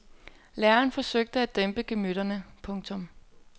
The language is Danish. Læreren forsøgte at dæmpe gemytterne. punktum